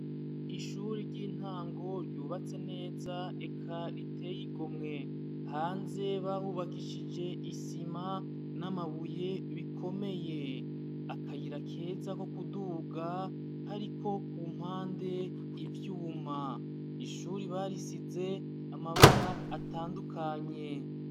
Ishure ryubatse neza kandi riteye igomwe hanze bahubakishije isima namabuye bikomeye akayira keza ko kuduga kariko kumpande ivyuma ishure barisize amabara atandukanye